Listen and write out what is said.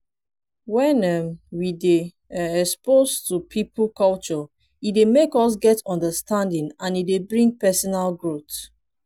when um we dey um exposed to pipo culture e dey make us get understanding and e dey bring personal growth